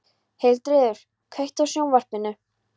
Hildiríður, kveiktu á sjónvarpinu.